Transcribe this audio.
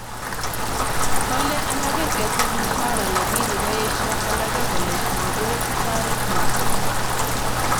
Kale alake ketil mshahara lakini kaesyo alege kole magoi taret noto